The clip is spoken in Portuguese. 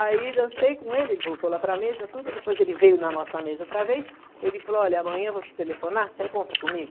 Aí dancei com ele, ele voltou lá para mesa, tudo, depois ele veio na nossa mesa outra vez, ele falou, olha, amanhã eu vou te telefonar, você encontra comigo?